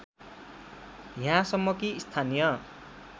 यहाँसम्म कि स्थानीय